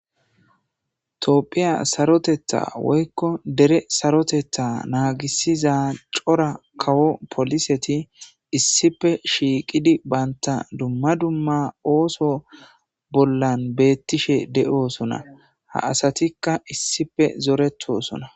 toopphiya sarotetha woykko dere sarotetha naagisiza cora kawo poliseti issife shiiqidi banta dumma dumma ooso bollan beettishe de7oosona ha asatikka issife zoretosona